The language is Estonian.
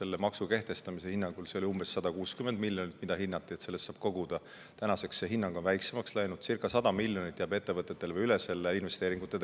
Selle maksu kehtestamise ajal hinnati, et see teeb umbes 160 miljonit, mida saab sellest koguda, nüüdseks on see hinnanguline summa väiksemaks läinud.